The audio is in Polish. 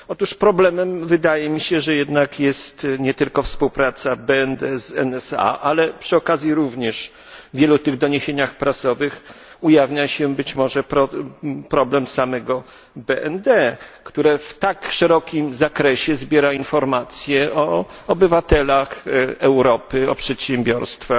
Otóż problemem, wydaje mi się, jest jednak nie tylko współpraca BND z NSA, ale przy okazji również w wielu doniesieniach prasowych ujawnia się być może problem samego BND, które w tak szerokim zakresie zbiera informacje o obywatelach Europy, o przedsiębiorstwach,